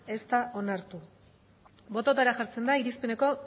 ez da onartu bototara jartzen da irizpeneko